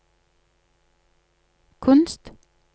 kunst